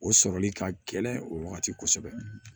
O sɔrɔli ka gɛlɛn o wagati kosɛbɛ